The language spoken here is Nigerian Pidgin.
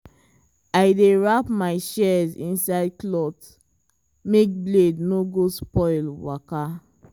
i dey wrap my shears inside cloth make blade no go spoil waka.